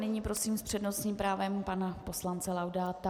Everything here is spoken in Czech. Nyní prosím s přednostním právem pana poslance Laudáta.